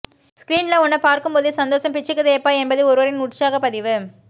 ஸ்கிரீன்ல உன்ன பார்க்கும்போதே சந்தோசம் பிச்சுக்குதேப்பா என்பது ஒருவரின் உற்சாக பதிவு